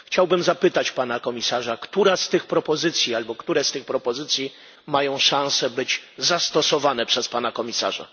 Chciałbym zapytać Pana Komisarza, która z tych propozycji albo które z tych propozycji mają szansę być zastosowane przez Pana Komisarza.